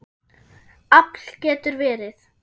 Afl getur verið